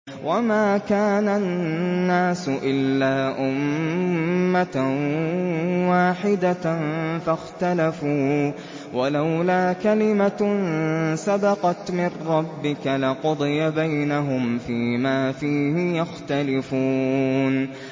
وَمَا كَانَ النَّاسُ إِلَّا أُمَّةً وَاحِدَةً فَاخْتَلَفُوا ۚ وَلَوْلَا كَلِمَةٌ سَبَقَتْ مِن رَّبِّكَ لَقُضِيَ بَيْنَهُمْ فِيمَا فِيهِ يَخْتَلِفُونَ